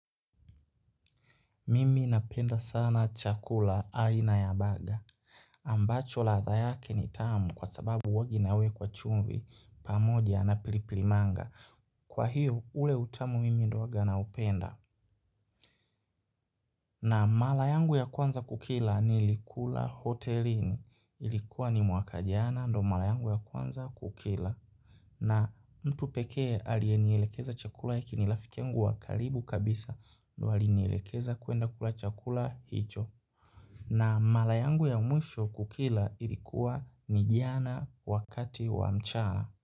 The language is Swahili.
Mimi napenda sana chakula aina ya baga. Ambacho ladha yake ni tamu kwa sababu huwanga inawekwa chumvi pamoja na pili pili manga. Kwa hiyo ule utamu mimi ndio huwanga naupenda. Na mara yangu ya kwanza kukila nilikula hotelini. Ilikuwa ni mwaka jana ndio mara yangu ya kwanza kukila. Na mtu pekee aliyenielekeza chakula hiki ni rafiki yangu wa karibu kabisa ndio alinielekeza kwenda kula chakula hicho. Na mara yangu ya mwisho kukila ilikuwa ni jana wakati wa mchana.